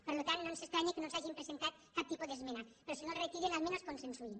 per tant no ens estranya que no ens hagin presentat cap tipus d’esmena però si no el retiren almenys consensuïn